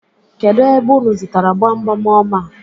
Kedụ ebe unu zụtara gbamgbam ọma a?